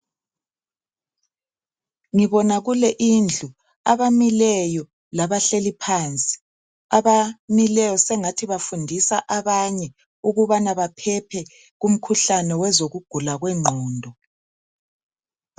Ngibona kule indlu, abamileyo labahleli phansi. Abamileyo sengathi bafundisa abanye ukubana baphephe kumkhuhlane wezokugula kwengqondo.